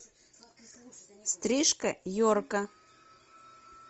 стрижка йорка